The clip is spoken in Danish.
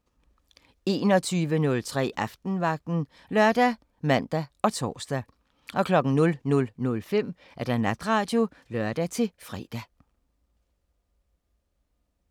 21:03: Aftenvagten ( lør, man, tor) 00:05: Natradio (lør-fre)